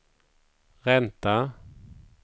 ränta